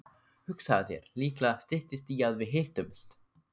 Hugsaðu þér, líklega styttist í að við hittumst.